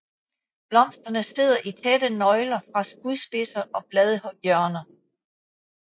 Blomsterne sidder i tætte nøgler fra skudspidser og bladhjørner